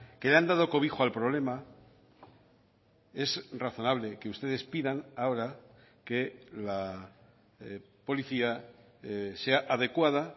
que han dado cobijo al problema es razonable que ustedes pidan ahora que la policía sea adecuada